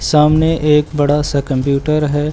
सामने एक बड़ा सा कंप्यूटर है।